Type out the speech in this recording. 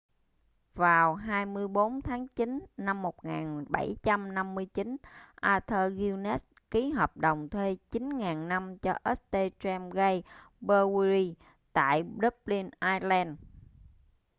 vào 24 tháng chín năm 1759 arthur guinness ký hợp đồng thuê 9.000 năm cho st james' gate brewery tại dublin ireland